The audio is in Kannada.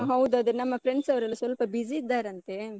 ಹಾ ಹೌದು. ಅದೇ ನಮ್ಮ friends ಅವರೆಲ್ಲ ಸ್ವಲ್ಪ busy ಇದ್ದಾರಂತೆ.